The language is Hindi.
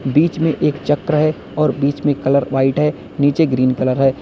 बीच में एक चक्र है और बीच में कलर व्हाइट है नीचे ग्रीन कलर है।